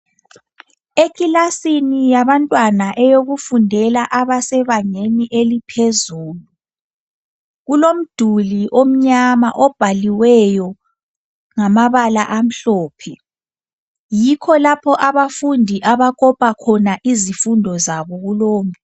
Ekilasini yabantwana eyokufundela abasebangeni eliphezulu. Kulo mduli omnyama obhaliweyo ngamabala amhlophe. Yikho lapho abafundi abakopa khona izifundo zabo kulowo mduli.